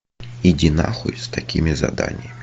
иди на хуй с такими заданиями